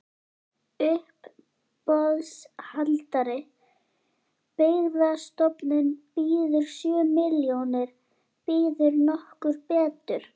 Uppboðshaldari: Byggðastofnun býður sjö milljónir, býður nokkur betur?